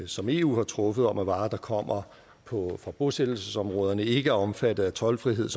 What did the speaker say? som eu har truffet om at varer der kommer fra bosættelsesområderne ikke er omfattet af toldfrihed